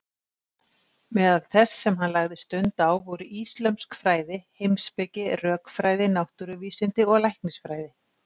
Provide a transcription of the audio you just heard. Meðal þess sem hann lagði stund á voru íslömsk fræði, heimspeki, rökfræði, náttúruvísindi og læknisfræði.